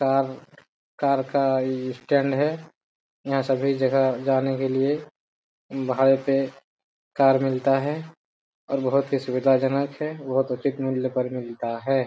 Car car का stand है यहां सभी जगह जाने के लिए भाड़े पे कार मिलता है। और बहुत ही सुविधाजनक है बहुत उचित मूल्य पर मिलता है।